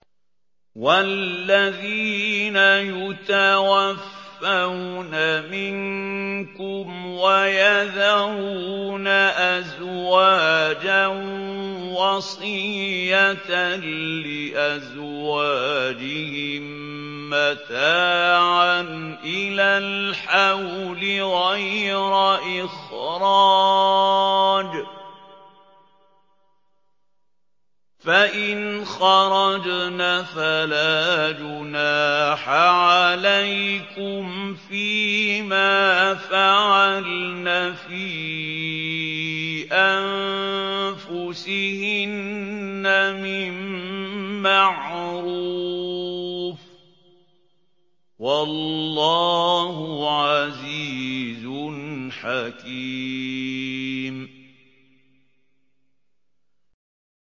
وَالَّذِينَ يُتَوَفَّوْنَ مِنكُمْ وَيَذَرُونَ أَزْوَاجًا وَصِيَّةً لِّأَزْوَاجِهِم مَّتَاعًا إِلَى الْحَوْلِ غَيْرَ إِخْرَاجٍ ۚ فَإِنْ خَرَجْنَ فَلَا جُنَاحَ عَلَيْكُمْ فِي مَا فَعَلْنَ فِي أَنفُسِهِنَّ مِن مَّعْرُوفٍ ۗ وَاللَّهُ عَزِيزٌ حَكِيمٌ